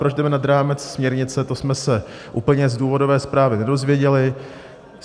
Proč jdeme nad rámec směrnice, to jsme se úplně z důvodové zprávy nedozvěděli.